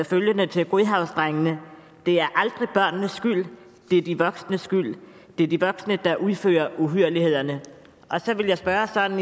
følgende til godhavnsdrengene det er aldrig børnenes skyld det er de voksnes skyld det er de voksne der udfører uhyrlighederne så vil jeg spørge sådan